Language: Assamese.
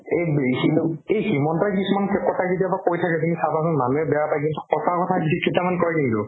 এইব সিটোক এই হিমন্তই কিছুমান পেপত্ৰই কেতিয়াবা কৈ থাকে তুমি চাবাচোন মানুহে বেয়া পাই কিন্তু সঁচা কথা সি কেইটামান কই কিন্তু